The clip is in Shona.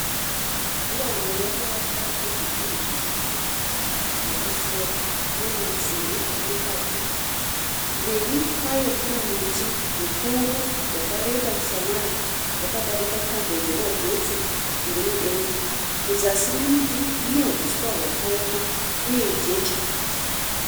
'Dura wall ' yakavakwa nezvidhina zvitsvuku zvakapisiwa, uye masimbi ari mukati. Mberi kwayo kune muti mukuru wakareba samare, wakadarika tambo dzemagetsi dziri mudenga. Muzasi memuti mune huswa hwakaoma uye jecha.